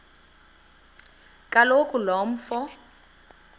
kaloku lo mfo